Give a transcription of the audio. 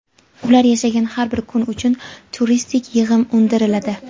ular yashagan har bir kun uchun turistik (mehmonxona) yig‘im undiriladi.